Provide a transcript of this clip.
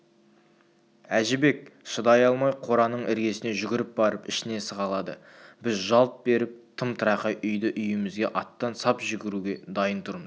әжібек шыдай алмай қораның іргесіне жүгіріп барып ішіне сығалады біз жалт беріп тым-тырақай үйді-үйімізге аттан сап жүгіруге дайын тұрмыз